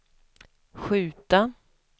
skjuta